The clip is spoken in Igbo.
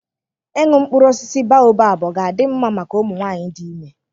Ịṅụ mkpụrụ osisi baobab ọ ga-adị mma maka ụmụ nwanyị dị ime?